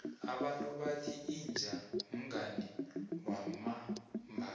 abantu bathi inja mngani wamambala